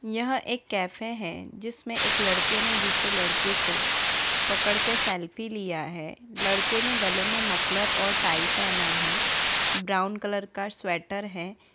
यह एक कैफे है जिसमें एक लड़के ने दूसरे लड़को को पकड़ के सेल्फी लिया है लड़के ने गले मे मफलर और टाई पेहना है ब्राउन कलर का स्वेटर है।